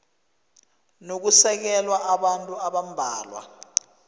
nokusekela kwabantu abambalwa